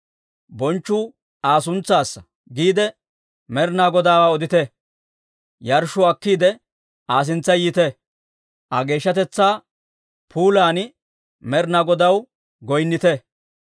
«Bonchchuu Aa suntsaassa» giide Med'inaa Godaawaa odite. Yarshshuwaa akkiide, Aa sintsa yiite. Aa geeshshatetsaa puulan Med'inaa Godaw goynnite.